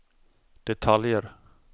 detaljer